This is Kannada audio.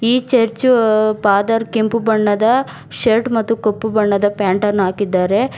ಈ ಚರ್ಚು ಫಾದರ್ ಕೆಂಪು ಬಣ್ಣದ ಶರ್ಟ್ ಮತ್ತು ಕಪ್ಪು ಬಣ್ಣದ ಪ್ಯಾಂಟ್ ಅನ್ನು ಹಾಕಿದ್ದಾರೆ.